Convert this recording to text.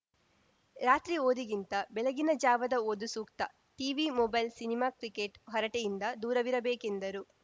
ರಾತ್ರಿ ಓದಿಗಿಂತ ಬೆಳಗಿನ ಜಾವದ ಓದು ಸೂಕ್ತ ಟಿವಿ ಮೊಬೈಲ್‌ ಸಿನಿಮಾ ಕ್ರಿಕೆಟ್‌ ಹರಟೆಯಿಂದ ದೂರವಿರಬೇಕೆಂದರು